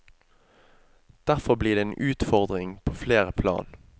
Derfor blir det en utfordring på flere plan.